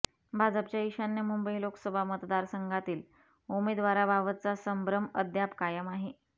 भाजपच्या ईशान्य मुंबई लोकसभा मतदारसंघातील उमेदवाराबाबतचा संभ्रम अद्याप कायम आहे